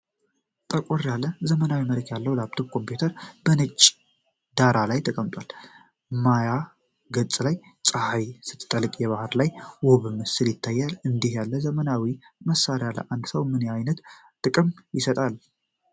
ጠቆር ያለ፣ ዘመናዊ መልክ ያለው ላፕቶፕ ኮምፒዩተር በነጭ ዳራ ላይ ተቀምጧል። ማያ ገጹ ላይ ፀሐይ ስትጠልቅ የባሕር ላይ ውብ ምስል ይታያል። እንዲህ ያለ ዘመናዊ መሣሪያ ለአንድ ሰው ምን ዓይነት ጥቅም ይሰጣል?